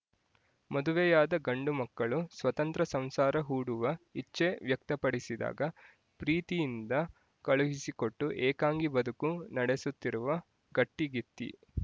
ಮದುವೆಯಾದ ಗಂಡು ಮಕ್ಕಳು ಸ್ವತಂತ್ರ ಸಂಸಾರ ಹೂಡುವ ಇಚ್ಚೆ ವ್ಯಕ್ತಪಡಿಸಿದಾಗ ಪ್ರೀತಿಯಿಂದ ಕಳುಹಿಸಿಕೊಟ್ಟು ಏಕಾಂಗಿ ಬದುಕು ನಡೆಸುತ್ತಿರುವ ಗಟ್ಟಿಗಿತ್ತಿ